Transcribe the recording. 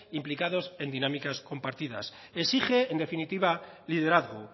implicados en dinámicas compartidas exige en definitiva liderazgo